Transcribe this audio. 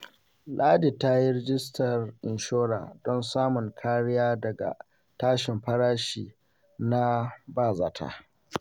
Ladi ta yi rajistar inshora don samun kariya daga tashin farashi na ba-zata.